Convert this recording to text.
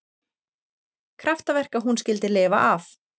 Kraftaverk að hún skyldi lifa af